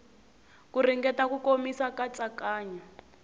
ku ringeta ku komisa katsakanya